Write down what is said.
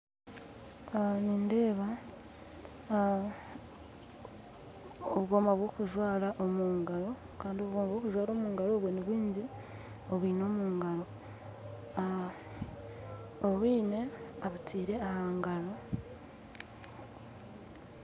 Nindeeba obwoma bwokujwara omungaro nibwingi abwine omungaro obundi abutaire ahangaro